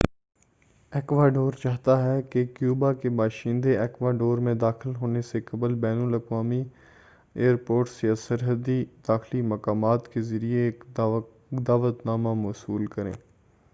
Ecuador چاہتا ہے کہ کیوبا کے باشندے ایکواڈور میں داخل ہونے سے قبل بین الاقوامی ایئرپورٹس یا سرحدی داخلی مقامات کے ذریعے ایک دعوت نامہ وصول کریں